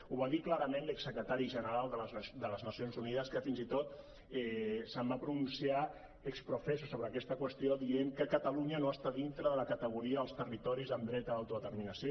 ho va dir clarament l’ex secretari general de les nacions unides que fins i tot es va pronunciar ex professo sobre aquesta qüestió dient que catalunya no està dintre de la categoria dels territoris amb dret a l’autodeterminació